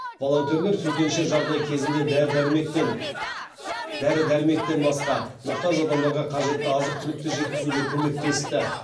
волонтерлер төтенше жағдай кезінде дәрі дәрмектен басқа мұқтаж адамдарға қажетті азық түлікті жеткізуге көмектесті